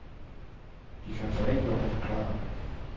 Vi skal forenkle og forklare.